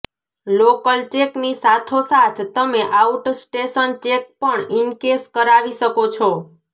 local ચેકની સાથો સાથ તમે આઉટસ્ટેશન ચેક પણ ઇનકેશ કરાવી શકો છો